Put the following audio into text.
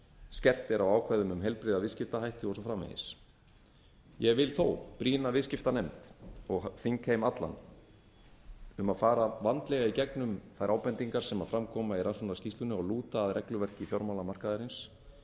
skerpt er á ákvæðum um heilbrigða viðskiptahætti og svo framvegis ég vil þó brýna viðskiptanefnd og þingheim allan sem fara vandlega í gegnum þær ábendingar sem fram koma í rannsóknarskýrslunni og lúta að regluverki fjármálamarkaðarins með